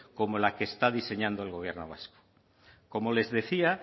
como la que está diseñando el gobierno vasco como les decía